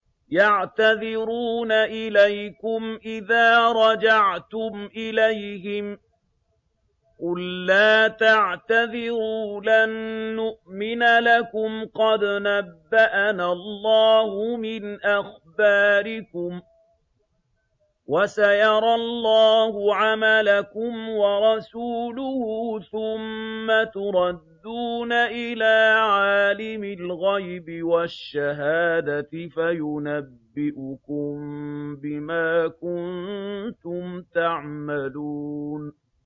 يَعْتَذِرُونَ إِلَيْكُمْ إِذَا رَجَعْتُمْ إِلَيْهِمْ ۚ قُل لَّا تَعْتَذِرُوا لَن نُّؤْمِنَ لَكُمْ قَدْ نَبَّأَنَا اللَّهُ مِنْ أَخْبَارِكُمْ ۚ وَسَيَرَى اللَّهُ عَمَلَكُمْ وَرَسُولُهُ ثُمَّ تُرَدُّونَ إِلَىٰ عَالِمِ الْغَيْبِ وَالشَّهَادَةِ فَيُنَبِّئُكُم بِمَا كُنتُمْ تَعْمَلُونَ